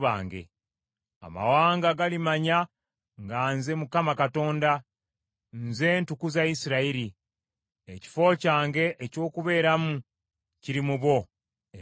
Amawanga galimanya nga nze Mukama Katonda, nze ntukuza Isirayiri; ekifo kyange eky’okubeeramu kiri mu bo emirembe gyonna.’ ”